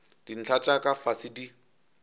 dintlha tša ka fase di